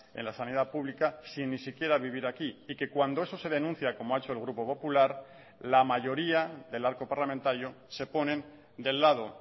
en la sanidad pública sin ni siquiera vivir aquí y que cuando eso se denuncia como ha hecho el grupo popular la mayoría del arco parlamentario se ponen del lado